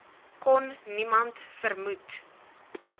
kon niemand vermoed